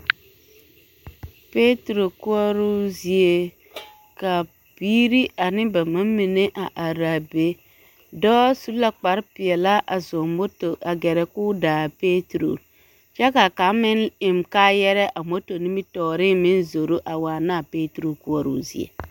Peturo koɔroo zie ka biiri ane ba ma mine a are a be, dɔɔ su la kpare peɛlaa a zɔŋ moto a gɛrɛ k'o da a peturo kyɛ ka kaŋ meŋ eŋ kaayarɛɛ a moto nimitɔɔreŋ meŋ zoro a waana a peturo koɔroo zie.